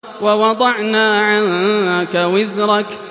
وَوَضَعْنَا عَنكَ وِزْرَكَ